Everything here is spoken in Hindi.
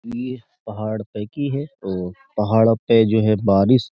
ये पहाड़ पे की है और पहाड़ों पे जो है बारिश --